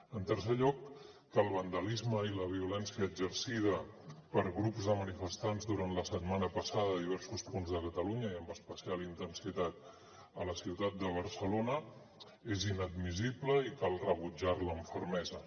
en tercer lloc que el vandalisme i la violència exercida per grups de manifestants durant la setmana passada a diversos punts de catalunya i amb especial intensitat a la ciutat de barcelona és inadmissible i cal rebutjar la amb fermesa